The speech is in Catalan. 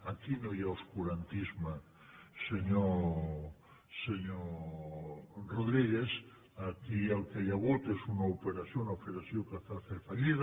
aquí no hi ha obscurantisme senyor rodríguez aquí el que hi ha hagut és una operació una operació que va fer fallida